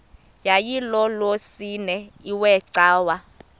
yayilolwesine iwe cawa